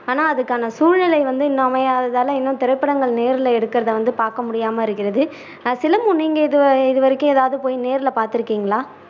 ஆனா அதுக்கான சூழ்நிலை வந்து இன்னும் அமையாததால இன்னும் திரைப்படங்கள் நேர்ல எடுக்குறதை வந்து பாக்க முடியாம இருக்கிறது ஆஹ் சிலம்பு நீங்க இது இது வரைக்கும் போயி நேர்ல பாத்து இருக்கீங்களா